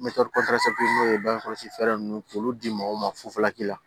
n'o ye bangekɔlɔsi fɛɛrɛ ninnu k'olu di mɔgɔw ma fufalaki la